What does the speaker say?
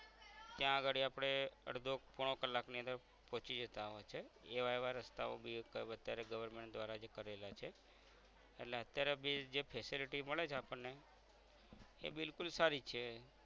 ત્યાં અગાડી આપણે અર્ધો પોણો કલાકની અંદર પૌચી જતાં હોય છે એવા એવા રસ્તાઓ ભી અત્યારે government દ્વારા જે કરેલા છે એટલે અત્યારે બી જે facility મળે છે આપણ ન એ બિલકુલ સારી છે